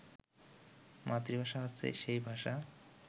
মাতৃভাষা হচ্ছে সেই ভাষা